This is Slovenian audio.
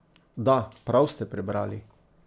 Da, prav ste prebrali!